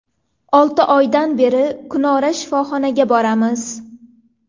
Olti oydan beri kunora shifoxonaga boramiz.